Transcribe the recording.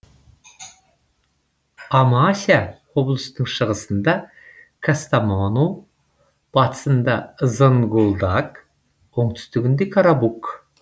амася облысының шығысында кастамону батысында зонгулдак оңтүстігінде карабук